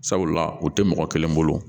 Sabula u tɛ mɔgɔ kelen bolo